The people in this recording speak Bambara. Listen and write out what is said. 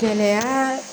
Kɛnɛya